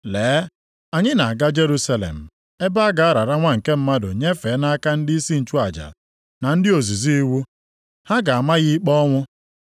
“Lee, anyị na-aga Jerusalem ebe a ga-arara Nwa nke Mmadụ nyefee nʼaka ndịisi nchụaja na ndị ozizi iwu. Ha ga-ama ya ikpe ọnwụ,